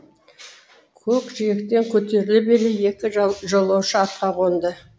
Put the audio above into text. көкжиектен көтеріле бере екі жолаушы атқа қонды